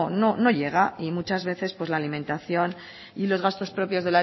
pues no llega y muchas veces pues la alimentación y los gastos propios